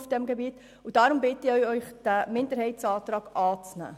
Deshalb bitte ich Sie, diesen Minderheitsantrag anzunehmen.